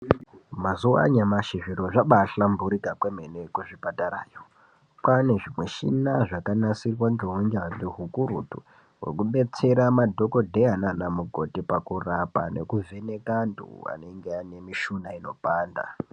Mazuwa anyamashi zviro zvabahlamburika kwemene kuzvipatarayo. Kwane zvimishina zvakanasirwa ngeunyanzvi hukurutu hwokudetsera madhokodheya naanamukoti pakurapa nekuvheneka antu anenge ane mishuna inopanda.